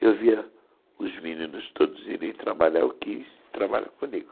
Eu via os meninos todos irem trabalhar, eu quis trabalhar comigo.